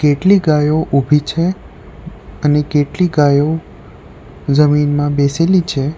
કેટલી ગાયો ઉભી છે અને કેટલી ગાયો જમીનમાં બેસેલી છે.